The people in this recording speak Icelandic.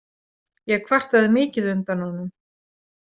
Ég kvartaði mikið undan honum.